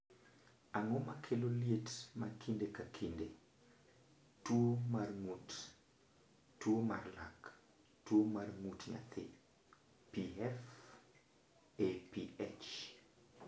Ang’o ma kelo liet ma kinde ka kinde, tuo mar ng’ut, tuo mar lak, tuo mar ng’ut nyathi (PFAPA)?